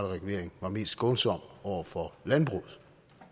regulering var mest skånsom over for landbruget